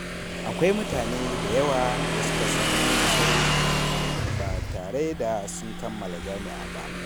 Akwai mutane da yawa da suka samu manyan nasarori ba tare da sun kammala jami’a ba.